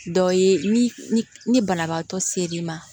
Dɔ ye ni ni banabaatɔ ser'i ma